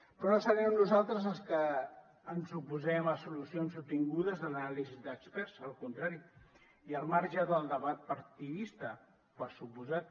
però no serem nosaltres els que ens oposem a solucions obtingudes de l’anàlisi d’experts al contrari i al marge del debat partidista per descomptat